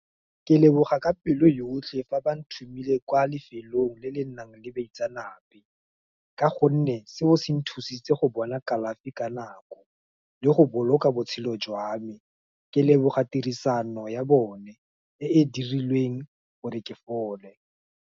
Ke leboga ka pelo yotlhe, ba ba nthumileng kwa lefelong le le nang le baitsanape, ka gonne, seo se nthusitse go bona kalafi ka nako, le go boloka botshelo jwa me, ke leboga tirisano ya bone, e e dirilweng gore ke fole.